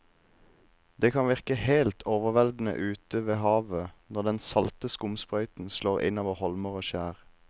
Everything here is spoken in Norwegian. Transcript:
Det kan virke helt overveldende ute ved havet når den salte skumsprøyten slår innover holmer og skjær.